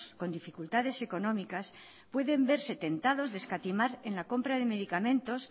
con dificultades económicas pueden verse tentados de escatimar en la compra de medicamentos